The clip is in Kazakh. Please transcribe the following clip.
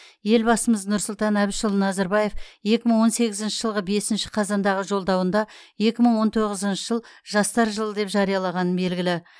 елбасымыз нұрсұлтан әбішұлы назарбаев екі мың он сегізінші жылғы бесінші қазандағы жолдауында екі мың он тоғызыншы жыл жастар жылы деп жариялағаны белгілі